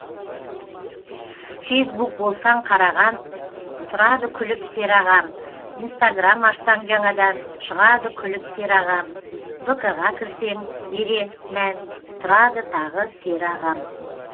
фейсбук болсаң қараған тұрады күліп сері ағам инстаграм ашсаң жаңадан шығады күліп сері ағам вк ға кірсең бере мән тұрады тағы сері ағам